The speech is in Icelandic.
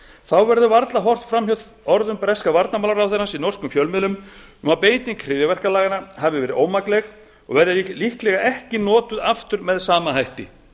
þá verður varla horft fram hjá orðum breska varnarmálaráðherrans í norskum fjölmiðlum um að beiting hryðjuverkalaganna hafi verið ómakleg og verði líklega ekki notuð aftur með sama hætti